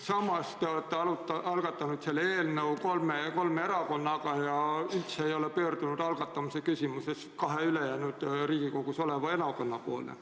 Samas te olete algatanud selle eelnõu kolme erakonnaga ja üldse ei ole pöördunud algatamise küsimuses kahe ülejäänud Riigikogus esindatud erakonna poole.